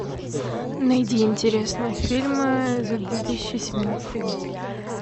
найди интересные фильмы за две тысячи семнадцатый год